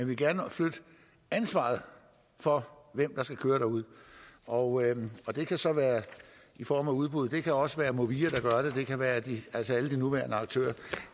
vil gerne flytte ansvaret for hvem der skal køre derude og og det kan så være i form af udbud det kan også være movia der gør det det kan være alle de nuværende aktører